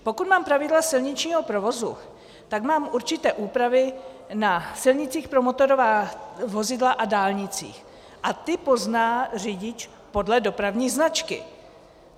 Pokud mám pravidla silničního provozu, tak mám určité úpravy na silnicích pro motorová vozidla a dálnicích a ty pozná řidič podle dopravní značky.